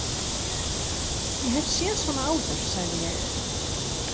Ég hef séð svona áður, sagði ég.